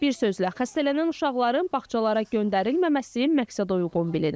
Bir sözlə, xəstələnən uşaqların bağçalara göndərilməməsi məqsədəuyğun bilinir.